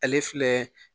Ale filɛ